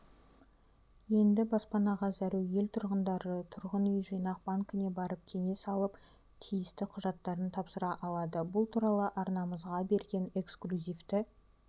енді баспанаға зәру ел тұрғындары тұрғын үй жинақ банкіне барып кеңес алып тиісті құжаттарын тапсыра алады бұл туралы арнамызға берген эксклюзивті